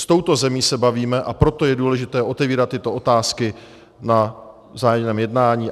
S touto zemí se bavíme, a proto je důležité otevírat tyto otázky na vzájemném jednání.